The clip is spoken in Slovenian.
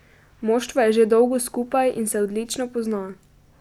Moštvo je že dolgo skupaj in se odlično pozna.